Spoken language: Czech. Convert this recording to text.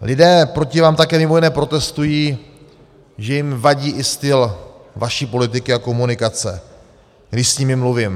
Lidé proti vám také mimo jiné protestují, že jim vadí i styl vaší politiky a komunikace, když s nimi mluvím.